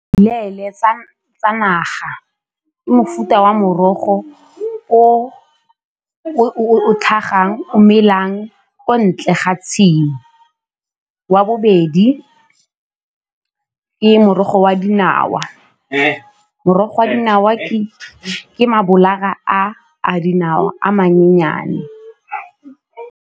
tsa naga ke mofuta wa morogo o o tlhagang o melang ko ntle ga tshimo. Wa bobedi ke morogo wa dinawa, morogo wa dinawa ke mabolata a dinawa a mannyane.